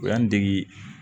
O y'an dege